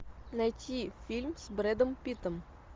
найти фильм с брэдом питтом